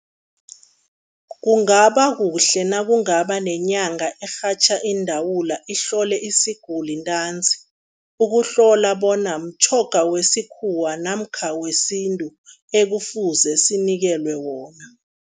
Kungaba kuhle nakungaba nenyanga erhatjha iindawula, ihlole isiguli ntanzi, ukuhlola bona mtjhoga wesikhuwa namkha wesintu ekufuze sinikelwe wona.